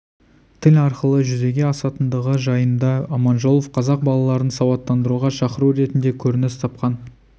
тіл арқылы жүзеге асатындығы жайында аманжолов қазақ балаларын сауаттандыруға шақыру ретінде көрініс тапқан